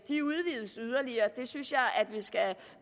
de udvides yderligere og det synes jeg at vi skal